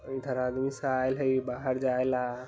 इधर आदमी आइल हई बाहर जायला।